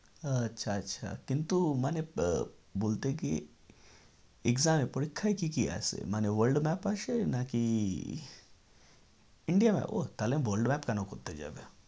আচ্ছা আচ্ছা কিন্তু মানে আহ বলতে কি exam এ পরিক্ষায় কি কি আসে? মানে world map আসে নাকি india map ওহ তাহলে map কেন করতে যাবে?